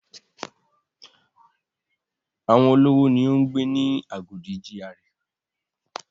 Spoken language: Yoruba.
Àwọn olówó ni ó ń gbé ni Agodi GRA.